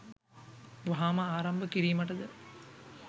වහාම ආරම්භ කිරීමටද